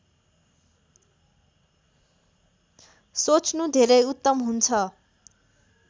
सोच्नु धेरै उत्तम हुन्छ